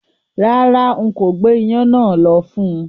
Rárá, n kò gbé iyán náà lọ fún-un